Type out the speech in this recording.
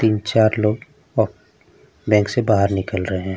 तीन-चार लोग ओक बैंक से बाहर निकल रहे हैं।